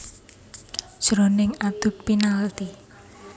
Jroning adu penalti